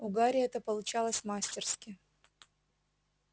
у гарри это получалось мастерски